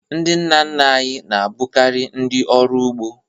Ndị nna nna anyị na-abụkarị ndị ọrụ ugbo